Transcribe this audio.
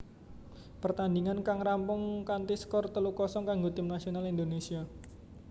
Pertandingan kang rampung kanthi skor telu kosong kanggo Tim Nasional Indonesia